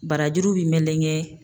Barajuru bi melegen